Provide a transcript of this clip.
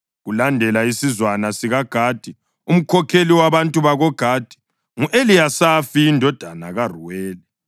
Kulandele isizwana sikaGadi. Umkhokheli wabantu bakoGadi ngu-Eliyasafi indodana kaRuweli.